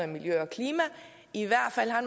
miljø og klima i hvert fald har